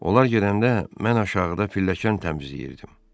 Onlar gedəndə mən aşağıda pilləkən təmizləyirdim.